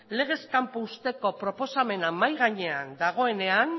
legez kanpo uzteko proposamena mahai gainean dagoenean